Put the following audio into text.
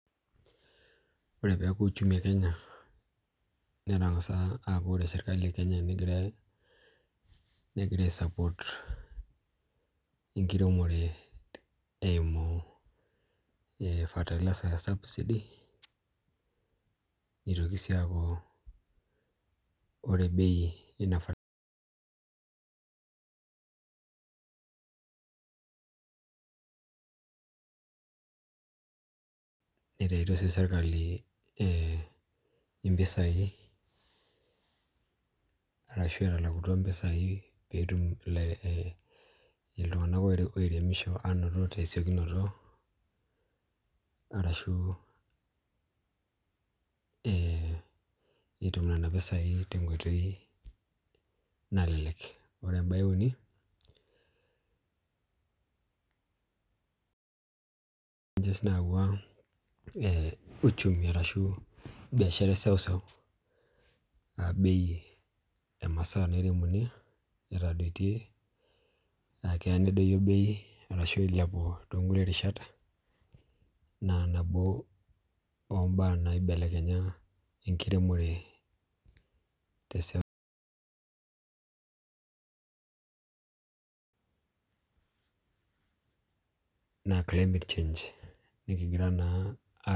Ore peeku uchumi e Kenya netang'asa aaku ore serkali e Kenya negira aisupport enkiremore eimu subsidy fertilizers nitoki sii aaku ore bei inafertilizer Nitaitio sii serkali ee impisai arashu etalakutua impisai peetum iltunganak oiremisho anaa anoto tesiokinoto arashu ee etum nene pesai tenkoitoi nalelek Ore em'bae e uni naa ninje sii nayawua ee uchumi arashu biashara eseuseu nalulung'a naa bei emasaa nairemuni etadoitie naa keya nedoyio bei arashu eilepu toonkukie rishat naa nabo om'baa naibelekenya enkiremore teseuseu naa climate change nikigira naa a